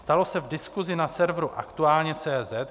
Stalo se v diskusi na serveru aktualne.cz